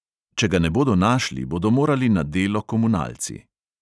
Če ga ne bodo našli, bodo morali na delo komunalci.